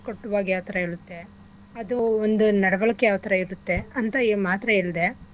ಕಟ್ಟುವಾಗ್ ಯಾವ್ಥರ ಹೇಳುತ್ತೆ ಅದು ಒಂದು ನಡ್ವಳಿಕೆ ಯಾವ್ಥರ ಇರುತ್ತೆ ಅಂತ ಇ ಮಾತ್ರ ಹೇಳ್ದೆ